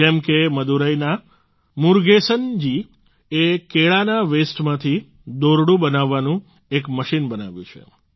જેમ કે મદુરાઈના મુરગેસન જી એ કેળાના વેસ્ટમાંથી દોરડું બનાવવાનું એક મશીન બનાવ્યું છે